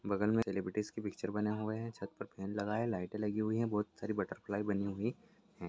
बगल मे सेलेब्रिटीस की पिक्चर बने हुए हैं छत पर फैन लगा हुआ हैं लाइटे लगी हुई है बहुत सारी बटरफ्लाई बनी हुई हैं।